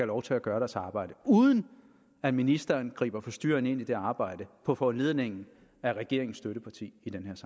lov til at gøre deres arbejde uden at ministeren griber forstyrrende ind i det arbejde på foranledning af regeringens støtteparti